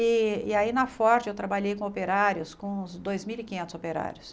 E e aí na Ford eu trabalhei com operários, com uns dois mil e quinhentos operários.